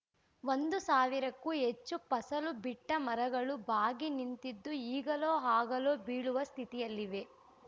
ಒಂದು ಸಾವಿರಕ್ಕೂ ಹೆಚ್ಚು ಫಸಲು ಬಿಟ್ಟಮರಗಳು ಬಾಗಿ ನಿಂತಿದ್ದು ಈಗಲೋ ಆಗಲೋ ಬೀಳುವ ಸ್ಥಿತಿಯಲ್ಲಿವೆ